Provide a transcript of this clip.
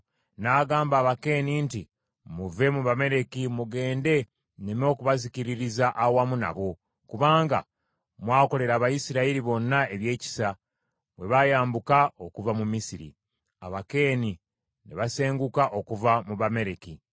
N’agamba Abakeeni nti, “Muve mu Bamaleki mugende nneme okubazikiririza awamu nabo, kubanga mwakolera Abayisirayiri bonna ebyekisa bwe bayambuka okuva mu Misiri.” Abakeeni ne basenguka okuva mu Bamaleki.